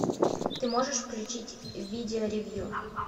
ты можешь включить видео ревью